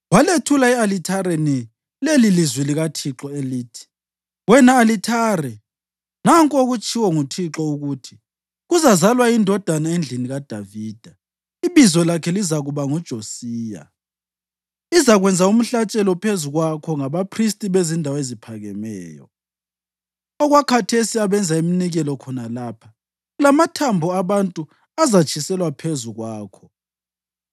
walethula e-alithareni lelilizwi likaThixo elithi: “Wena alithare! Nanku okutshiwo nguThixo ukuthi, ‘Kuzazalwa indodana endlini kaDavida, ibizo lakhe lizakuba nguJosiya. Izakwenza umhlatshelo phezu kwakho ngabaphristi bezindawo eziphakemeyo okwakhathesi abenza iminikelo khona lapha, lamathambo abantu azatshiselwa phezu kwakho.’ ”